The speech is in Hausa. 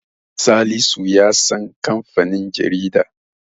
Salisu ya san kamfanin jaridar.